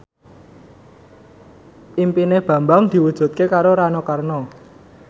impine Bambang diwujudke karo Rano Karno